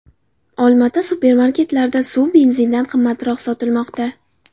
Olmaota supermarketlarida suv benzindan qimmatroq sotilmoqda.